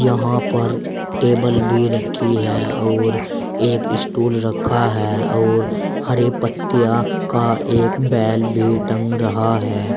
यहां पर टेबल भी रखी है और एक स्टूल रखा है और हरे पत्तियां का एक बैल भी टंग रहा है।